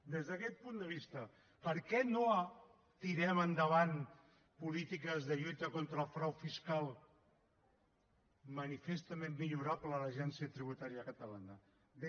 des d’aquest punt de vista per què no tirem endavant polítiques de lluita contra el frau fiscal manifestament millorable l’agència tributària catalana bé